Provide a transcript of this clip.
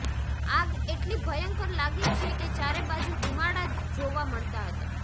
આગ એટલી ભયંકર લાગી છે કે ચારે બાજુ ધુમાડા જ જોવા મળતા હતા